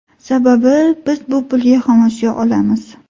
Sababi, biz bu pulga xomashyo olamiz.